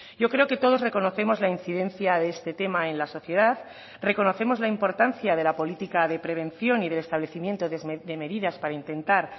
yo creo que todos reconocemos la incidencia de este tema en la sociedad reconocemos la importancia de la política de prevención y del establecimiento de medidas para intentar